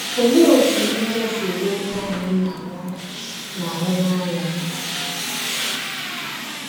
Olee otú ndị ọzọ si ele onye ahụ ị na - anwụrụ na - anwụrụ anya?